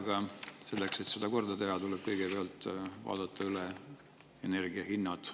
Aga selleks, et seda korda teha, tuleb kõigepealt vaadata üle energia hinnad.